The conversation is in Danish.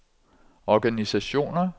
organisationer